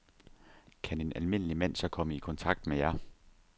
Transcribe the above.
Kan en almindelig mand så komme i kontakt med jer?